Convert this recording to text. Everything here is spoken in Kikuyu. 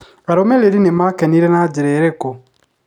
Arũmĩrĩri nĩ maakenire na njĩra ĩrĩkũ?